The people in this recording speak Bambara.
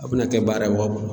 A bena kɛ baara ye